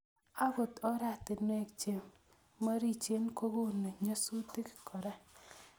Agot oratinwek che morichen kokonu nyasutik kora